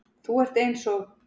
Þú ert eins og